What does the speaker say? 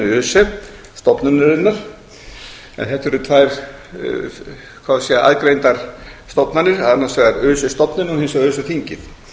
öse stofnunarinnar en þetta eru tvær aðgreindar stofnanir annars vegar öse stofnunin og hins vegar öse þingið